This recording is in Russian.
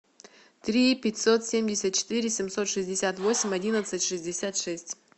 три пятьсот семьдесят четыре семьсот шестьдесят восемь одиннадцать шестьдесят шесть